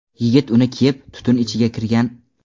Yigit uni kiyib, tutun ichiga kirgan.